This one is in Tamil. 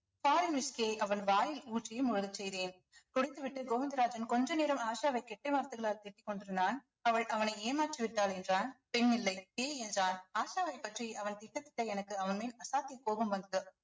அவன் வாயில் ஊற்றும் செய்தேன் குடித்துவிட்டு கோவிந்தராஜன் கொஞ்ச நேரம் ஆஷாவை கெட்ட வார்த்தைகளால் திட்டிக் கொண்டிருந்தான் அவள் அவனை ஏமாற்றிவிட்டாள் என்றான் பெண் இல்லை பேய் என்றான் ஆஷாவைப் பற்றி அவன் திட்ட திட்ட எனக்கு அவன் மேல் அசாத்திய கோபம் வந்தது